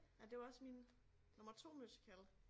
Ej det var også min nummer 2 musical